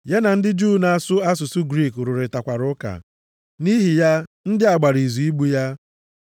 Ya na ndị Juu na-asụ asụsụ Griik rụrịtakwara ụka. Nʼihi ya ndị a gbara izu igbu ya.